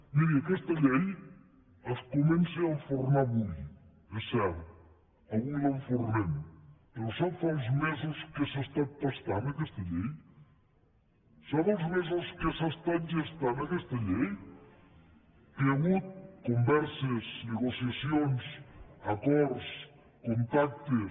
miri aquesta llei es comença a enfornar avui és cert avui l’enfornem però sap els mesos que s’ha estat pastant aquesta llei sap els mesos que s’ha estat gestant aquesta llei que hi ha hagut converses negociacions acords contactes